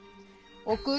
og gula